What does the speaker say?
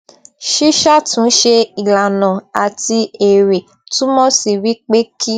ṣíṣàtúnṣe ìlànà àti èrè túmọ sí wípé kí